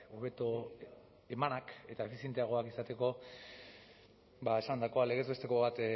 hobeto emanak eta efizienteagoak izateko ba esandakoa legez besteko bat